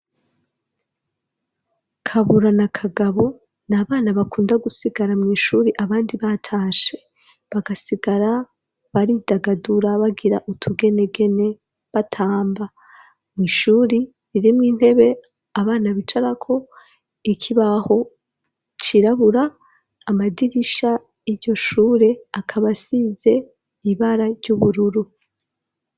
Kabura na kagabo n' abana bakunda gusigara mu ishuri abandi batashe bagasigara baridagadura bagira utugenegene batamba mu ishuri ririmwo intebe abana bicarako iki baho kirabura amadirisha iyo shure akaba asize ibara ry'ubururu.